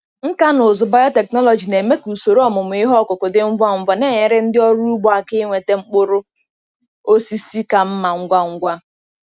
Nkà na ụzụ biotechnology na-eme ka usoro ọmụmụ ihe ọkụkụ dị ngwa ngwa, na-enyere ndị ọrụ ugbo aka inweta mkpụrụ osisi ka mma ngwa ngwa.